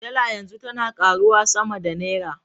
Dala yanzu tana karuwa sama da Naira.